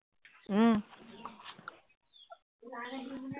উম